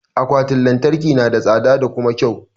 Akwatin lantarki na da tsada da kuma kyau.